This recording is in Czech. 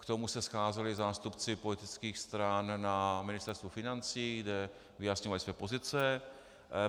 K tomu se scházeli zástupci politických stran na Ministerstvu financí, kde vyjasňovali své pozice.